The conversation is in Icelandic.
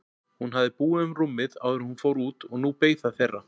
Hún hafði búið um rúmið áður en hún fór út og nú beið það þeirra.